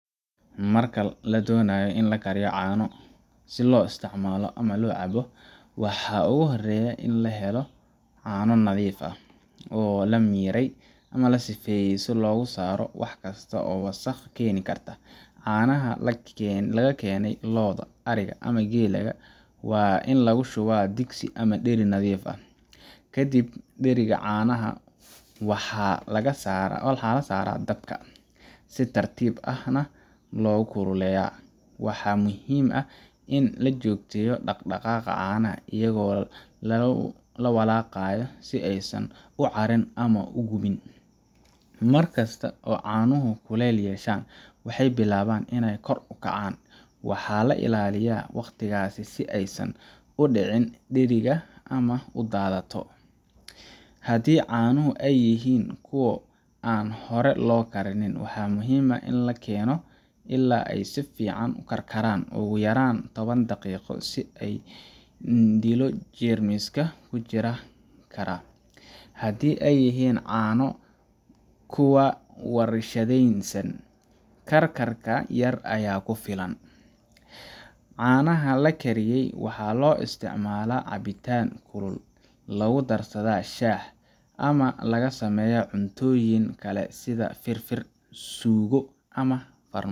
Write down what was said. Marka la doonayo in la kariyo caano si loo isticmaalo ama loo cabbo, waxa ugu horreeya waa in la helo caano nadiif ah, oo la miiray ama la sifeeyey si looga saaro wax kasta oo wasakh keeni karta. Caanaha laga keenay lo’da, ariga ama geela waa in lagu shubaa digsi ama dheri nadiif ah. Kadib, dheriga caanaha waxaa la saaraa dabka , si tartiib ahna loo kululeeyaa. Waxaa muhiim ah in la joogteeyo dhaqdhaqaaqa caanaha iyadoo la walaaqayo si aysan u caarin ama u gubin. Mar kasta oo caanuhu kulayl yeeshaan, waxay bilaabaan inay kor u kacaan waana in la ilaaliyaa waqtigaas si aysan u ka dhicin dheriga ama u daadato. Haddii caanuhu ay yihiin kuwo aan hore loo karin, waa muhiim in la keeno ilaa ay si fiican u karkaraan ugu yaraan toban daqiiqo si loo dilo jeermiska ku jiri kara. Haddii ay yihiin caano kuwa warshadaysan, karkar yar ayaa ku filan. Caanaha la kariyey waxaa loo isticmaalaa cabitaan kulul, lagu darsadaa shaah, ama laga sameeyaa cuntooyin kale sida fir-fir, suugo, ama